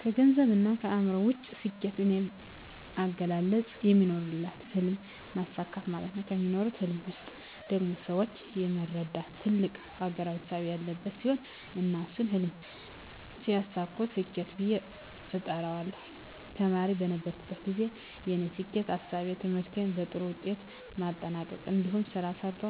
ከገንዘብና ከማዕረግ ውጭ፣ ስኬት በኔ አገላለጽ የሚኖሩለትን ህልም ማሳካት ማለት ነው። በሚኖሩለት ህልም ውስጥ ደግሞ ሰወችን የመርዳትና ትልቅ አገራዊ እሳቤ ያለበት ሲሆን እና እሱን ህልም ሲያሳኩ ስኬት ብየ እጠራዋለሁ። ተማሪ በነበርኩበት ግዜ የኔ ስኬት እሳቤ ትምህርቴን በጥሩ ውጤት ማጠናቅ እንዲሁም ስራ ሰርቶ